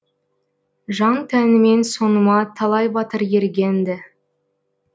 жан тәнімен соңыма талай батыр ерген ді